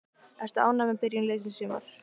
Ertu ánægður með byrjun liðsins í sumar?